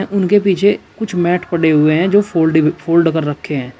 उनके पीछे कुछ मैट पड़े हुए हैं जो की फोल्ड कर रखें हैं।